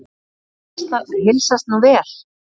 Konunni heilsast nú vel.